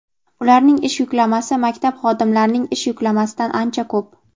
ularning ish yuklamasi maktab xodimlarining ish yuklamasidan ancha ko‘p.